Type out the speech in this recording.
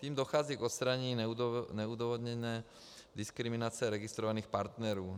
Tím dochází k odstranění neodůvodněné diskriminace registrovaných partnerů.